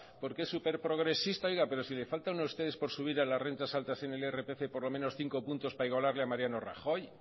porque es superprogresista pero si le falta a ustedes por subir a las rentas altas en el irpf por lo menos cinco puntos para igualarle a mariano rajoy